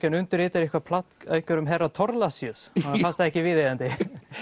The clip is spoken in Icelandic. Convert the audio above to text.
hann undirritað eitthvað plagg af einhverjum herra Thorlacius honum fannst það ekki viðeigandi